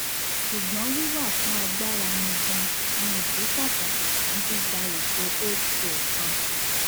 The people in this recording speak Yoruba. ṣugbọn wiwa fun agbara ni gaan ni idi pataki fun gbigba eto holdco kan